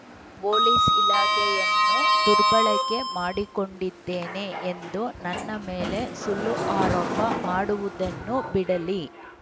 police ಇಲಾಖೆಯನ್ನು ದುರ್ಬಳಕೆ ಮಾಡಿಕೊಂಡಿದ್ದೇನೆ ಎಂದು ನನ್ನ ಮೇಲೆ ಸುಳ್ಳು ಆರೋಪ ಮಾಡುವುದನ್ನು ಬಿಡಲಿ